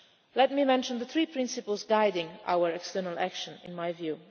Let me mention the three principles guiding our external action, in my view.